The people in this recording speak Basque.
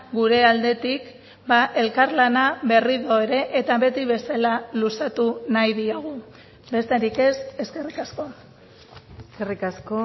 gure aldetik elkarlana berriro ere eta beti bezala luzatu nahi diogu besterik ez eskerrik asko eskerrik asko